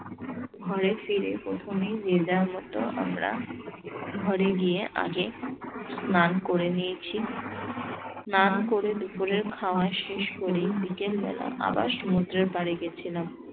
ঘরে ফিরে প্রথমেই যে যার মতো আমরা ঘরে গিয়ে আগে স্নান করে নিয়েছি স্নান করে দুপুরের খাওয়া শেষ করি বিকেল বেলা আবার সমুদ্রের পাড়ে গেছিলাম।